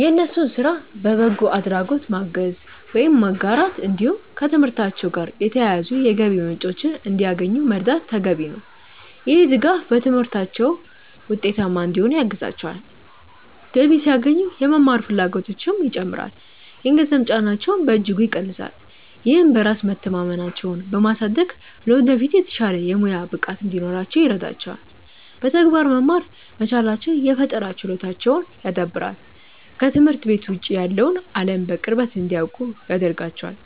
የእነሱን ስራ በበጎ አድራጎት ማገዝ ወይም መጋራት፣ እንዲሁም ከትምህርታቸው ጋር የተያያዙ የገቢ ምንጮችን እንዲያገኙ መርዳት ተገቢ ነው። ይህ ድጋፍ በትምህርታቸው ውጤታማ እንዲሆኑ ያግዛቸዋል፤ ገቢ ሲያገኙ የመማር ፍላጎታቸውም ይጨምራል፣ የገንዘብ ጫናቸውንም በእጅጉ ይቀንሳል። ይህም በራስ መተማመናቸውን በማሳደግ ለወደፊት የተሻለ የሙያ ብቃት እንዲኖራቸው ይረዳቸዋል። በተግባር መማር መቻላቸው የፈጠራ ችሎታቸውን ያዳብራል፤ ከትምህርት ቤት ውጭ ያለውን አለም በቅርበት እንዲያውቁ ያደርጋቸዋል።